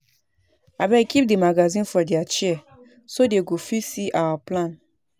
Abeg keep the magazine for their chair so dey go fit see our plan